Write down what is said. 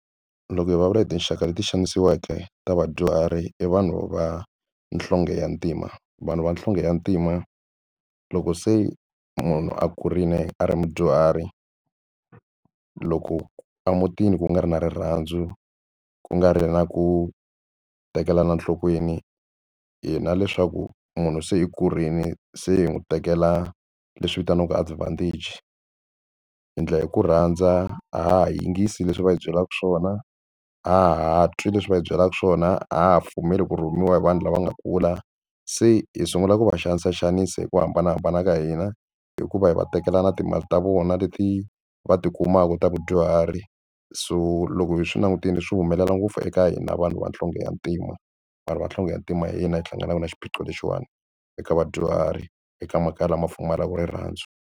Loko hi vulavula hi tinxaka leti xanisiweke ta vadyuhari i vanhu va nhlonge ya ntima vanhu vanhlonge ya ntima loko se munhu a kurile a ri mudyuhari loko emutini ku nga ri na rirhandzu ku nga ri na ku ku tekela nhlokweni hina leswaku munhu se i kurile se hi n'wi tekela leswi vitaniwaka advantage hi endla hi ku rhandza a ha ha yingisi leswi va hi byelaka swona ha twi leswi va hi byelaka swona a ha ha pfumeli ku rhumiwa hi vanhu lava nga kula se hi sungula ku va xanisaxanisa hi ku hambanahambana ka hina hikuva hi va tekela na timali ta vona leti va tikumaka ta vadyuhari so loko hi swi langutile swi humelela ngopfu eka hina vanhu vanhlonge ya ntima vanhu vanhlonge ya ntima hina hi hlanganaka na xiphiqo lexiwani eka vadyuhari eka makaya lama pfumalaka rirhandzu.